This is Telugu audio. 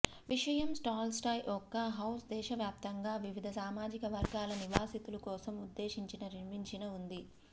విషయం టాల్స్టాయ్ యొక్క హౌస్ దేశవ్యాప్తంగా వివిధ సామాజిక వర్గాల నివాసితులు కోసం ఉద్దేశించిన నిర్మించిన ఉంది